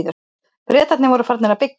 Bretarnir voru farnir að byggja.